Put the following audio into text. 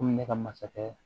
Komi ne ka masakɛ